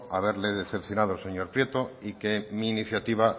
haberle decepcionado señor prieto y que mi iniciativa